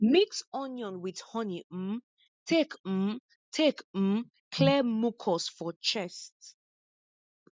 mix onion with honey um take um take um clear mucus for chest